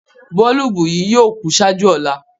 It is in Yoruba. Bọ̀ọ̀lùbù yì yóò kú ṣáàjú ọ̀là.